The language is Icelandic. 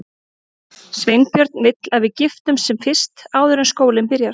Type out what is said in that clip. Sveinbjörn vill að við giftumst sem fyrst, áður en skólinn byrjar.